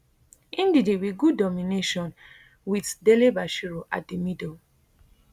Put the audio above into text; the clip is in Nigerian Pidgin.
ndidi wit good domination wit dele bashiru at di middle